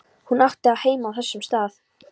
Hún átti heima á þessum stað.